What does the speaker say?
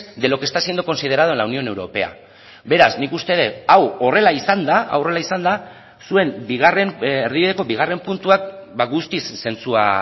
de lo que está considerado en la unión europea beraz nik uste dut hau horrela izanda zuen erdibideko bigarren puntuak guztiz zentzua